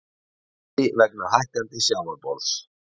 Vandi vegna hækkandi sjávarborðs